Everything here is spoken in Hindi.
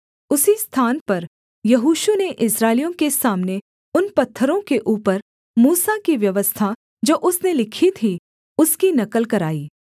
उसी स्थान पर यहोशू ने इस्राएलियों के सामने उन पत्थरों के ऊपर मूसा की व्यवस्था जो उसने लिखी थी उसकी नकल कराई